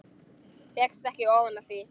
Fékkst ekki ofan af því.